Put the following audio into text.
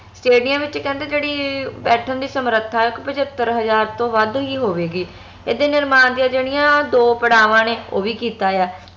stadium ਵਿਚ ਕਹਿੰਦੇ ਜਿਹੜੀ ਬੈਠਣ ਦੀ ਸਮਰੱਥਾ ਆ ਇਕ ਪਚੱਤਰ ਹਜਾਰ ਤੋਂ ਵਧ ਹੀ ਹੋਵੇਗੀ ਏਹਦੇ ਨਿਰਮਾਣ ਦੀਆ ਜਿਹੜੀਆਂ ਦੋ ਪੜਾਵਾਂ ਨੇ ਓਵੀ ਕੀਤਾ ਆ